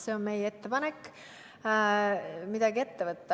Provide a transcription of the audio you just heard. See on meie ettepanek midagi ette võtta.